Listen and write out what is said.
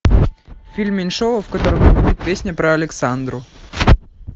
фильм меньшова в котором песня про александру